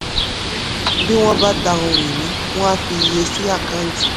bí wọ́n bá ta ohun ìní wọ́n á fi iye sí àkáǹtì.